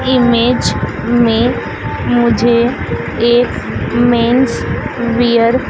image मे मुझे एक मेन्स वियर --